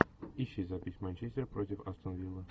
ищи запись манчестер против астон виллы